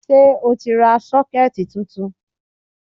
Ṣé o ti ra 'Sókẹ́ẹ̀tì ' titun